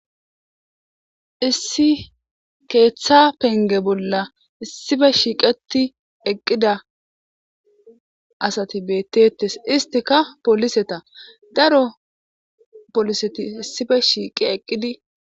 issi keeththa penge bolla issife shiiqeti eqqida asati beettetes istika poliseta daro poliseti issife shiiqi eqqidi